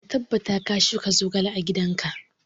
Ka tabbata ka shuka zogale a gidan ka!